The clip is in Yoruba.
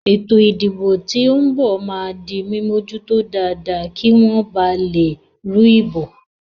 Ètò ìdìbò tí ó ń bò máa di mímójútó dáadáa kí wọ́n ba lè rú ìbò